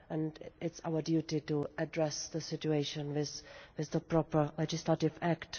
It is our duty to address the situation with the proper legislative act.